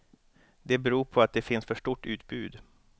Det beror på att det finns för stort utbud.